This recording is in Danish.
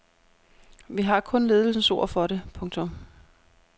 Vi har kun ledelsens ord for det. punktum